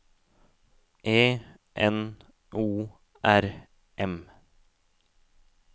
E N O R M